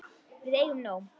Við eigum nóg.